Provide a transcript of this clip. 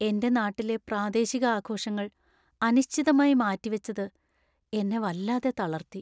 എൻ്റെ നാട്ടിലെ പ്രാദേശിക ആഘോഷങ്ങൾ അനിശ്ചിതമായി മാറ്റിവച്ചത് എന്നെ വല്ലാതെ തളർത്തി.